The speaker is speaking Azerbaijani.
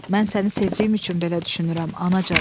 Mən səni sevdiyim üçün belə düşünürəm, anacan.